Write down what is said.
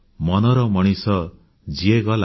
ମନର ମଣିଷ ଯିଏ ଗଲା